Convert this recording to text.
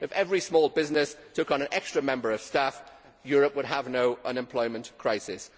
If every small business took on an extra member of staff, Europe would have no unemployment crisis.